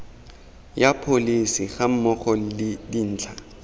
ya pholesi gammogo le dintlha